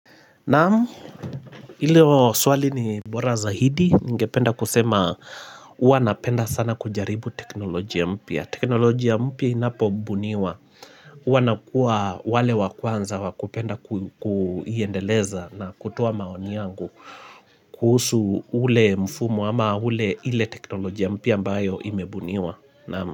Naam ilo swali ni bora zaidi ningependa kusema Huwa napenda sana kujaribu teknolojia mpya. Teknolojia mpya inapobuniwa. Huwa nakuwa wale wa kwanza wa kupenda kuiendeleza na kutoa maoni yangu kuhusu ule mfumo ama ule ile teknolojia mpya ambayo imebuniwa. Naamu.